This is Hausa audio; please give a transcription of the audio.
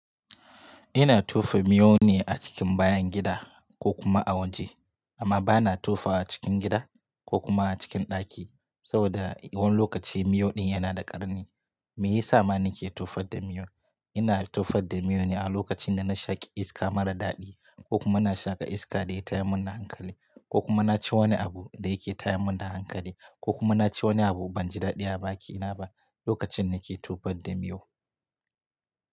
Ina tofa miyo ne a cikin bayan gida ko kuma a waje amma bana tofa a cikin gida ko kuma a cikin ɗaki saboda wani lokaci miyo ɗin yana da ƙarni. Me yasa ma nike tofar da miyo? Ina tofad da miyo ne a lokacin da na shaƙi iska mara daɗi ko kuma na shaƙa iska daya tayar mun hankali ko kuma naci wani abu da yake tayar mun da hankali ko kuma naci wani abu banji daɗi a bakina ba lokacin da nake tofa da miyo.